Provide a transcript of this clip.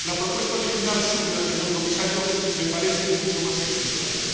Su propuesta original, señor comisario, me parece mucho más equilibrada.